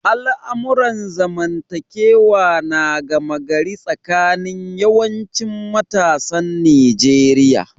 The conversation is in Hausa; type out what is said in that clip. Al'amuran zamantakewa na gama gari tsakanin yawancin matasan Nijeriya.